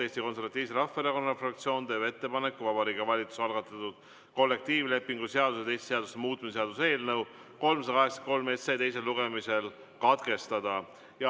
Eesti Konservatiivse Rahvaerakonna fraktsioon teeb ettepaneku Vabariigi Valitsuse algatatud kollektiivlepingu seaduse ja teiste seaduste muutmise seaduse eelnõu 383 teine lugemine katkestada.